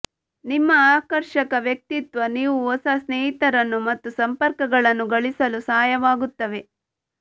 ನಿಮ್ಮ ಆಕರ್ಷಕ ವ್ಯಕ್ತಿತ್ವ ನೀವು ಹೊಸ ಸ್ನೇಹಿತರನ್ನು ಮತ್ತು ಸಂಪರ್ಕಗಳನ್ನು ಗಳಿಸಲು ಸಹಾಯ ವಾಗುತ್ತವೆ